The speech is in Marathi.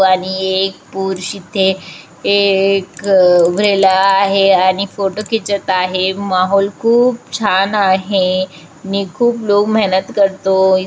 आणि एक पुरुष इथे एक उभारलेला आहे आणि फोटो किचत आहे माहोल खूप छान आहे आणि खूप लोग मेहनत करतो.